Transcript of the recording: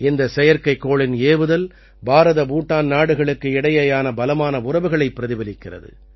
இந்தச் செயற்கைக்கோளின் ஏவுதல் பாரதபூட்டான் நாடுகளுக்கு இடையேயான பலமான உறவுகளை பிரதிபலிக்கிறது